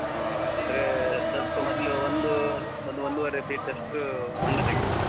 ಹಾ ಅಂದ್ರೆ ಸ್ವಲ್ಪ ಮೊದ್ಲು ಒಂದೂ ಒಂದು ಒಂದೂವರೆ feet ಷ್ಟು ಹೊಂಡ ತೆಗಿಬೇಕು.